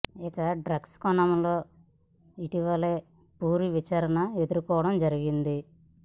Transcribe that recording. ఇక డ్రగ్స్ కోణం లో ఇటీవలే పూరి విచారణ ఎదురుకోవడం జరిగింది